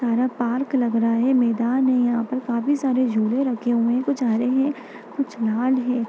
तारा park लग रहा है मैदान है यहाँ पर काफी सारे झूलें रखे हुए हैं कुछ हरे हैं कुछ लाल हैं।